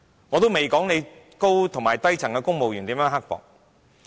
我仍未說對低層公務員是如何的刻薄。